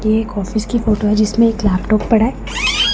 ये एक ऑफिस की फोटो है जिसमें एक लैपटॉप पड़ा--